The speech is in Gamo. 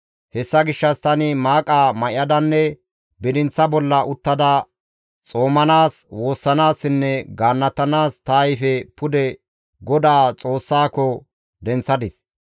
Hessa gishshas tani maaqa may7adanne bidinththa bolla uttada xoomanaas, woossanaassinne gaannatanaas ta ayfe pude GODAA Xoossako denththadis.